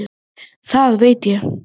Það veit ég